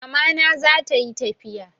Mama na zata yi tafiya